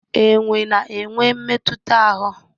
Enwe na-enwe mmetụta ahụ.